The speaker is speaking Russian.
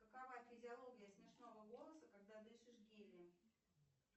какова физиология смешного голоса когда дышишь гелием